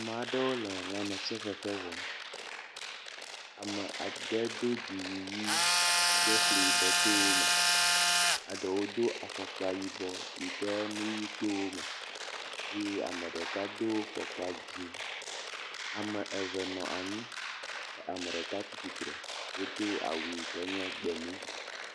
Maɖewo le lãmesefefe wɔm. Ame ade do dziwui ʋi yi ke fli yibɔ to wo me. Eɖewo do afɔkpa yibɔ yi ke enu ʋi to wo me ey eame ɖeka do fɔkpa dzi. Ame eve nɔ anyi kea me ɖeka tsitsre wodo awu yi ke nye gbemu.